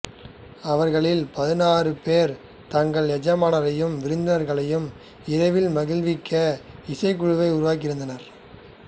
அவர்களில் பதினாறு பேர் தங்கள் எஜமானரையும் விருந்தினர்களையும் இரவில் மகிழ்விக்க இசைக் குழுவை உருவாக்கி இருந்ததனர்